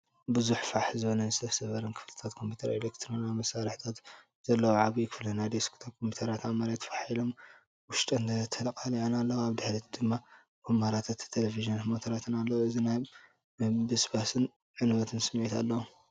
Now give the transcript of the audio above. ብዙሕ ፋሕ ዝበለን ዝተሰብረን ክፍልታት ኮምፒተርን ካልእ ኤሌክትሮኒካዊ መሳርሒታትን ዘለዎ ዓቢ ክፍሊ። ናይ ዴስክቶፕ ኮምፒዩተራት ኣብ መሬት ፋሕ ኢሎም ውሽጠን ተቓሊዐን ኣለዋ። ኣብ ድሕሪት ድማ ኵምራታት ተለቪዥናትን ሞኒተራትን ኣለዉ። እዚ ናይ ምብስባስን ዕንወትን ስምዒት ኣለዎ።